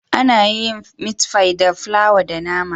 Ana yin miti fai da flawa da nama